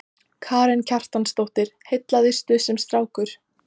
Karen Kjartansdóttir: Heillaðistu sem strákur?